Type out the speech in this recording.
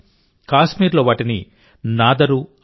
కాశ్మీర్లో వాటిని నాదరూ అంటారు